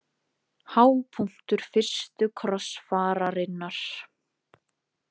Hápunktur fyrstu krossfararinnar.